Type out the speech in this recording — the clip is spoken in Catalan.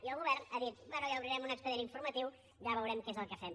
i el govern ha dit bé ja obrirem un expedient informatiu ja veurem què és el que fem